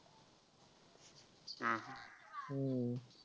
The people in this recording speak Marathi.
हम्म